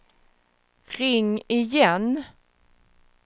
ring igen